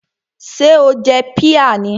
Ṣé o jẹ píà mi?